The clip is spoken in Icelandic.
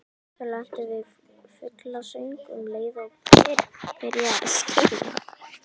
Þau lentu við fuglasöng um leið og byrjaði að skíma.